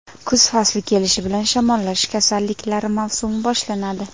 Kuz fasli kelishi bilan shamollash kasalliklari mavsumi boshlanadi.